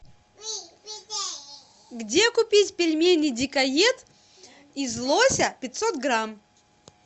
где купить пельмени дикоед из лося пятьсот грамм